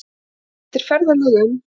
Eftir ferðalög um